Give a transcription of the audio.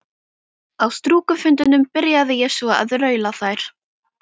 Á stúkufundunum byrjaði ég svo að raula þær.